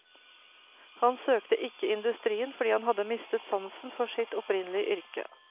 Han søkte ikke industrien fordi han hadde mistet sansen for sitt opprinnelige yrke.